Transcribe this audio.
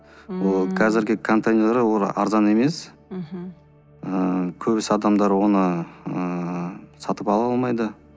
ммм қазіргі контейнерлер олар арзан емес мхм ыыы көбісі адамдар оны ыыы сатып ала алмайды